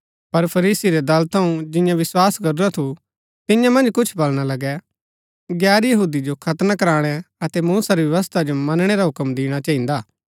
पर फरीसी रै दल थऊँ जिन्यैं विस्वास करूरा थु तियां मन्ज कुछ बलणा लगै गैर यहूदी जो खतना कराणै अतै मूसा री व्यवस्था जो मनणै रा हूक्म दिणा चहिन्दा